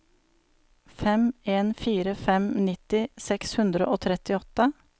fem en fire fem nitti seks hundre og trettiåtte